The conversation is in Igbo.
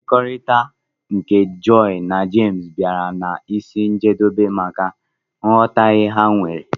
mmekọrita nke joy na james biara n'isi njedobe maka nghotahie ha nwere.